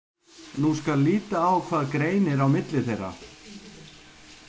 Nú skal líta á hvað greinir á milli þeirra.